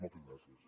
moltes gràcies